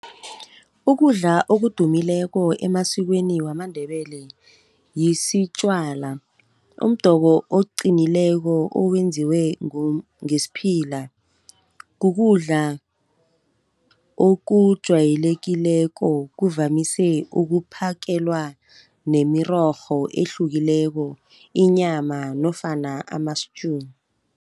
Ukudla okudumileko emasikweni wamaNdebele, yisitjwala, umdoko oqinileko owenziwe ngesiphila. Kukudla okujayelekileko, kuvamise ukuphakelwa nemirorho ehlukileko inyama nofana ama-stew.